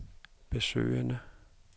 besøgende